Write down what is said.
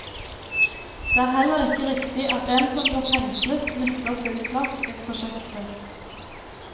Det er heller ikke riktig at en som blir fengslet, mister sin plass i prosjektet.